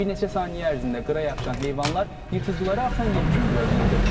Bir neçə saniyə ərzində qıra yapışan heyvanlar yırtıcılara asan yem kimi görünürdü.